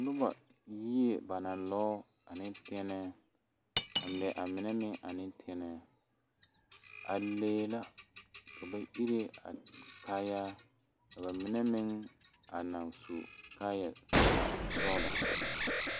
Noba yie ba naŋ lɔɔ ane tɛnɛɛ a mɛ a mine meŋ ane tɛnɛɛ a lee la ka ba ire a kaayaa ka ba mine meŋ a naŋ su kaayɛsɔglɔ.